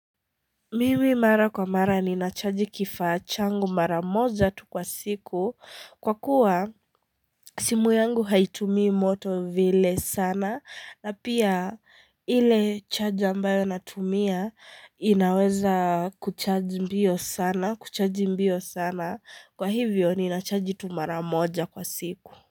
Mimi mara kwa mara ni nachaji kifaa changu maramoja tu kwa siku kwa kuwa simu yangu haitumii moto vile sana na pia ile charger ambayo natumia inaweza kuchaji mbio sana kuchaji mbio sana kwa hivyo ni nachaji tu maramoja kwa siku.